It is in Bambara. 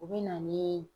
U bɛ na ni